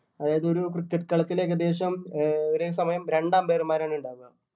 അതായത് ഒരു cricket കളത്തിൽ ഏകദേശം ഒരേ സമയം രണ്ട് umpire മാരാണ് ഇണ്ടാവുക